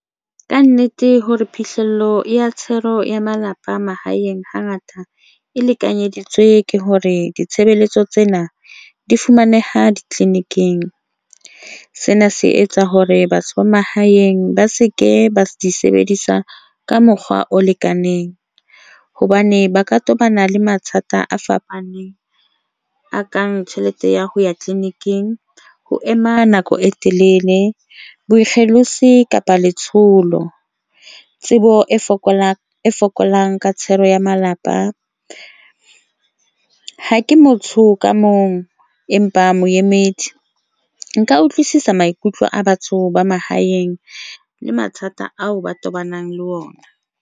Ka nnete, hore phihlello ya tshenyo ya malapa mahaeng hangata e lekanyeditswe ke hore ditshebeletso tsena di fumaneha ditleliniking. Sena se etsa hore batho ba mahaeng ba se ke ba di sebedisa ka mokgwa o hobane ba ka tobana le mathata a fapaneng a kang tjhelete ya ho ya clinic, ing ho ema nako e telele boikgethelo tse kapa letsholo. Tsebo e fokolang fokolang ka thero ya malapa ha ke motho ka mong empa moemedi nka utlwisisa maikutlo a batho ba mahaeng le mathata ao ba tobanang le ona.